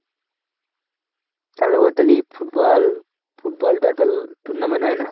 football, football, bat ball tournament হয় না?